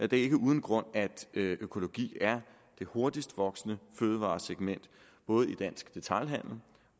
det er ikke uden grund at økologi er det hurtigst voksende fødevaresegment både i dansk detailhandel